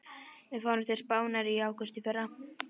Við fórum til Spánar í ágúst í fyrra.